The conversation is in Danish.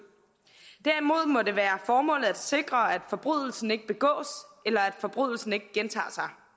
derimod må det være formålet at sikre at forbrydelsen ikke begås eller at forbrydelsen ikke gentager